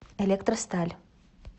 электросталь